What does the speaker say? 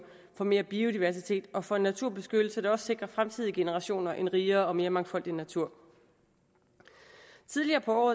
for mere biodiversitet og for en naturbeskyttelse der også sikrer fremtidige generationer en rigere og mere mangfoldig natur tidligere på